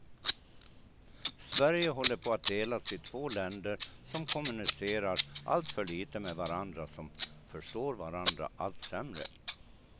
Sverige håller på att delas i två länder som kommunicerar alltför lite med varandra, som förstår varandra allt sämre.